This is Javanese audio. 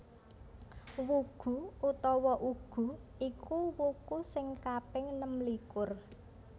Wugu utawa Ugu iku wuku sing kaping nemlikur